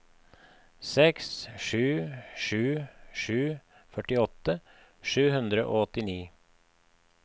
seks sju sju sju førtiåtte sju hundre og åttini